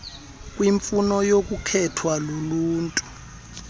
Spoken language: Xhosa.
kwiimfuno nokukhethwa luluntu